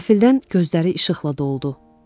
Qəfildən gözləri işıqla doldu.